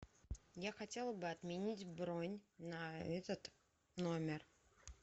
я хотела бы отменить бронь на этот номер